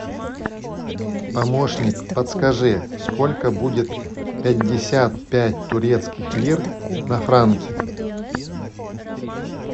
помощник подскажи сколько будет пятьдесят пять турецких лир на франки